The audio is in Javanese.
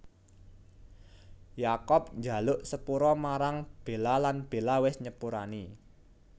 Jacob njaluk sepura marang Bella lan Bella wis nyepurani